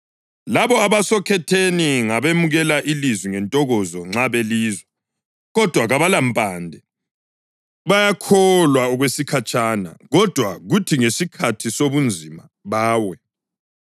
Labo abasokhetheni ngabemukela ilizwi ngentokozo nxa belizwa, kodwa kabalampande. Bayakholwa okwesikhatshana, kodwa kuthi ngesikhathi sobunzima bawe.